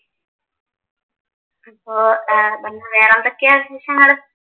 ഇപ്പോ പിന്നെ വേറെ എന്തൊക്കെയാണ് വിശേഷങ്ങള്